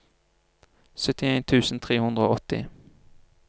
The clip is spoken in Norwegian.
syttien tusen tre hundre og åtti